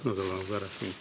назарларыңызға рахмет